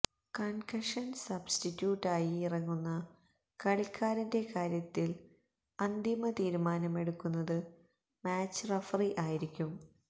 concussion substitute ആയി ഇറങ്ങുന്ന കളിക്കാരന്റെ കാര്യത്തിൽ അന്തിമ തീരുമാനമെടുക്കുന്നത് മാച്ച് റഫറി ആയിരിക്കും